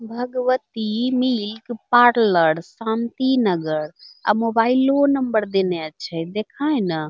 Bhagwati milk parlour Shanti Nagar अ मोबाइलो number देले अच्छे देखा हइ ना |